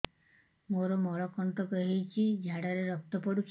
ମୋରୋ ମଳକଣ୍ଟକ ହେଇଚି ଝାଡ଼ାରେ ରକ୍ତ ପଡୁଛି